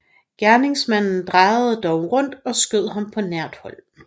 Gerningsmanden drejede dog rundt og skød ham på nært hold